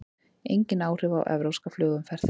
Engin áhrif á evrópska flugumferð